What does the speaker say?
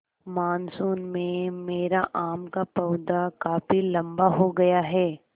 monsoon में मेरा आम का पौधा काफी लम्बा हो गया है